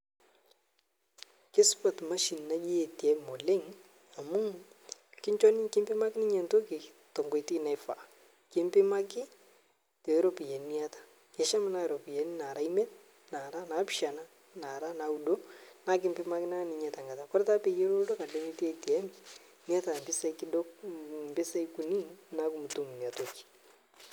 Keisupat emashini naji ATM oleng amuu kinncho ninye, kimpimaki ninye entoki tenkoitoi naifaa. Kimpimaki tooropyiani niata. Kesham naa iropiyiani nara imiet nara naapishiana naara naaudo, naa ekimpimaki naa nyinye tenkata. Ore taa peyie elotu enkatanemetii ATM niata impisai kunyik niaku imotum inia toki